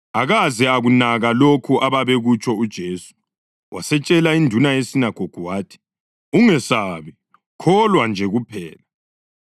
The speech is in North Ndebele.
Akaze akunaka lokho ababekutsho uJesu, wasetshela induna yesinagogu wathi, “Ungesabi, kholwa nje kuphela.”